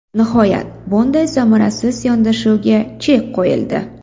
Nihoyat, bunday samarasiz yondashuvga chek qo‘yildi.